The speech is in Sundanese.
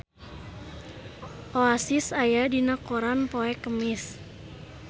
Oasis aya dina koran poe Kemis